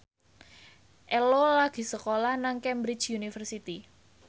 Ello lagi sekolah nang Cambridge University